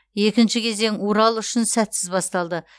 екінші кезең урал үшін сәтсіз басталды